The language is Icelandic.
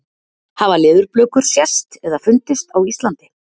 Hafa leðurblökur sést eða fundist á Íslandi?